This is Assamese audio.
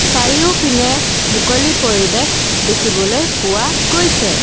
চাৰিওপিনে মুকলি পৰিৱেশ দেখিবলৈ পোৱা গৈছে।